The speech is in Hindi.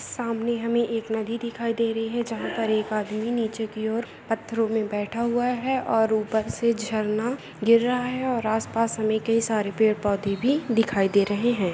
सामने हमी एक नदी दिखाई दे रही हे जहा पर एक आदमी नीचे क्योर पत्तरोंमे बैट हुआ हे और ऊपर से झलन गिरा हे और आस पास हमें के सर पेड़ पौधे भी दिखाई दे रही हे।